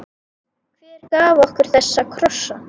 Hver gaf okkur þessa krossa?